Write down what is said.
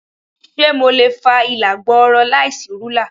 Ṣé mo lè fa ìlà gbọọrọ láìsí rúlà?